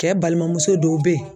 Cɛ balimamuso dɔw be yen